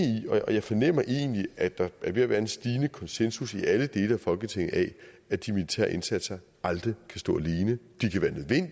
i og jeg fornemmer egentlig at der er ved at være en stigende konsensus i alle dele af folketinget af at de militære indsatser aldrig kan stå alene